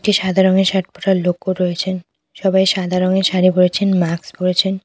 একটি সাদা রঙের শার্ট পরা লোকও রয়েছেন সবাই সাদা রঙের শাড়ি পরেছেন মাক্স পরেছেন।